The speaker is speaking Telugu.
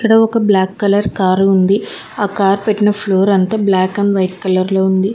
ఒక బ్లాక్ కలర్ కారు ఉంది ఆ కార్ పెట్టిన ఫ్లోర్ అంతా బ్లాక్ అండ్ వైట్ కలర్ లో ఉంది.